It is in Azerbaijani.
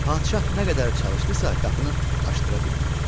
Padşah nə qədər çalışdısa, qapını açdıra bilmədi.